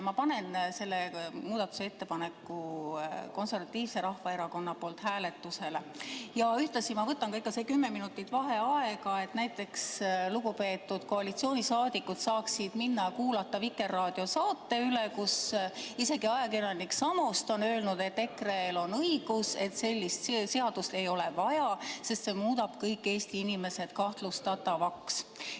Ma soovin panna selle muudatusettepaneku Eesti Konservatiivse Rahvaerakonna nimel hääletusele ja ühtlasi soovin võtta ka kümme minutit vaheaega, et lugupeetud koalitsiooniliikmed saaksid näiteks minna kuulama Vikerraadio saadet, kus isegi ajakirjanik Samost ütleb, et EKRE-l on õigus, sellist seadust ei ole vaja, sest see muudab kõik Eesti inimesed kahtlustatavaks.